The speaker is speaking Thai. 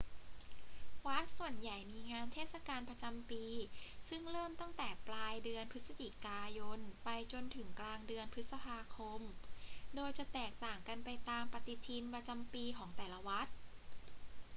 วัดส่วนใหญ่มีงานเทศกาลประจำปีซึ่งเริ่มตั้งแต่ปลายเดือนพฤศจิกายนไปจนถึงกลางเดือนพฤษภาคม โดยจะแตกต่างกันไปตามปฏิทินประจำปีของแต่ละวัด